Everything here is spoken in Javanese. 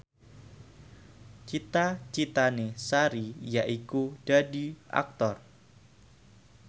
cita citane Sari yaiku dadi Aktor